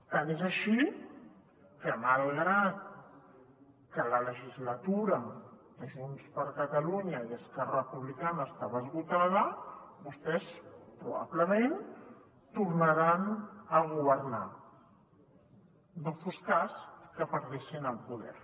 tant és així que malgrat que la legislatura de junts per catalunya i esquerra republicana estava esgotada vostès probablement tornaran a governar no fos cas que perdessin el poder